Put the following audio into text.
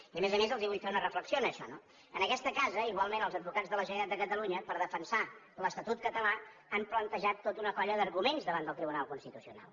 i a més a més els vull fer una reflexió en això no en aquesta casa igualment els advocats de la generalitat de catalunya per defensar l’estatut català han plantejat tota una colla d’arguments davant del tribunal constitucional